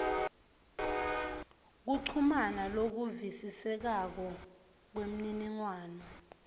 kuchumana lokuvisisekako kwemniningwano